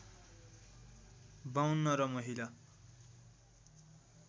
५२ र महिला